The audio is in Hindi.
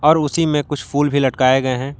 और उसी में कुछ फूल भी लटकाए गए हैं।